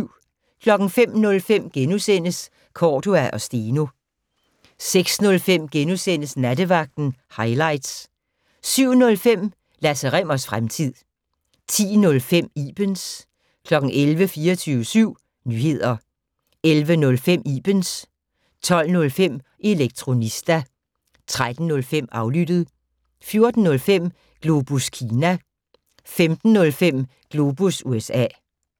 05:05: Cordua & Steno * 06:05: Nattevagten - hightlights * 07:05: Lasse Rimmers fremtid 10:05: Ibens 11:00: 24syv Nyheder 11:05: Ibens 12:05: Elektronista 13:05: Aflyttet 14:05: Globus Kina 15:05: Globus USA